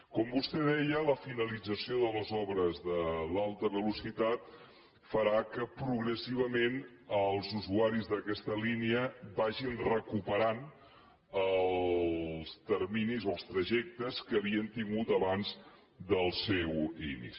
com vostè deia la finalització de les obres de l’alta velocitat farà que progressivament els usuaris d’aquesta línia vagin recuperant els terminis o els trajectes que havien tingut abans del seu inici